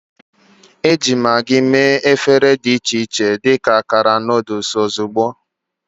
Eji Maggi mee efere dị iche iche dị ka akara noodle ozugbo.